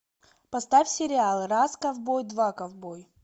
поставь сериал раз ковбой два ковбой